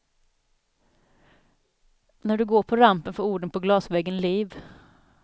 När du går på rampen får orden på glasväggen liv.